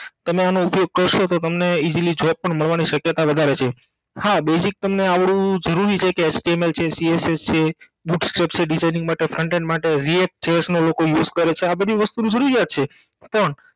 પણ તમે આનો ઉપયોગ કરસો તો તમને easily job પણ મળવાની સકયતા વધારે છે હા basic તમને આવડવું જરૂરી છે કે html છે case છે Front end માટે React Chess નો લોકો use કરે છે આ બધી વસ્તુ ની જરૂરિયાત છે